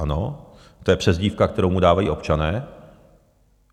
Ano, to je přezdívka, kterou mu dávají občané.